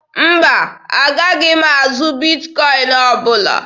Mba, a gaghị azụ Bitkọin ọbụla.